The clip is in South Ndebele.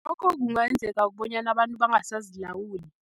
Lokho kungayenzeka bonyana abantu bangasazilawuli.